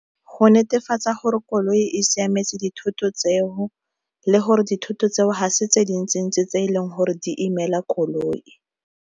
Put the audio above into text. Go netefatsa gore koloi e siametse dithoto tseo le gore dithoto tseo ga se tse dintsi ntsi tse e leng gore di imela koloi.